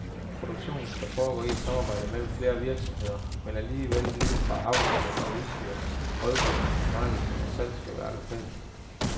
Produktionen skal foregå i et samarbejde mellem flere virksomheder, men alt lige fra avlsdyr til udstyr, rådgivning, marketing og salg skal være lokalt.